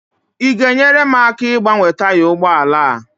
ị ga-enyere m aka ịgbanwe taya ụgbọ ala a?